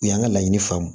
U y'an ka laɲini faamu